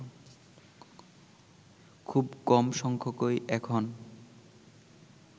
খুব কম সংখ্যকই এখন